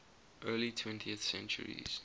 early twentieth centuries